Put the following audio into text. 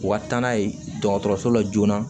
U ka taa n'a ye dɔgɔtɔrɔso la joona